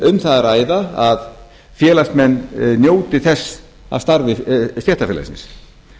um það að ræða að félagsmenn njóti þess af starfi stéttarfélagsins